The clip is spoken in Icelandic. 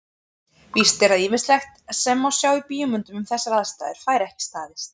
Víst er að ýmislegt sem sjá má í bíómyndum um þessar aðstæður fær ekki staðist.